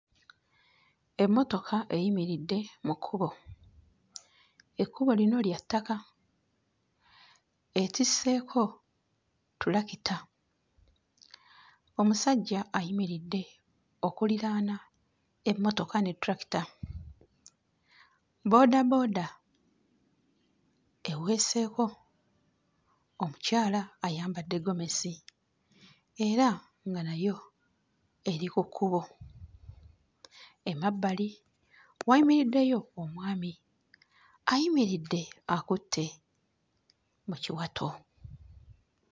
Emmotoka eyimiridde mu kkubo, ekkubo lino lya ttaka, etisseeko ttulakita, omusajja ayimiridde okuliraana emmotoka ne ttulakita, bboodabooda eweseeko omukyala ayambadde ggomesi era nga nayo eri ku kkubo, emabbali wayimiriddeyo omwami, ayimiridde akutte mu kiwato.